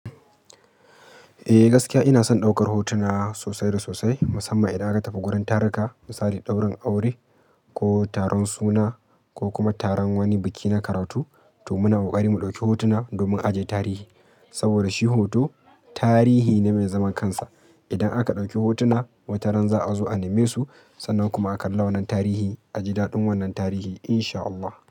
Eh gaskiya ina son ɗaukar hotuna sosai da sosai musamman idan aka tafi wurin tarika, misali ɗaurin aure ko taron suna ko kuma taron wani biki na karatu. To muna kokari mu ɗauki hotuna domin aje tarihi saboda shi hoto tarihi ne mai zaman kansa. Idan aka ɗauki hotuna wataran za a zo a neme su sannan kuma a kalla wannan tarihi a ji daɗin wannan tarihi insha Allah.